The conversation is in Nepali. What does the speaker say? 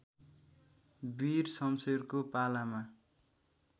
वीर शमशेरको पालामा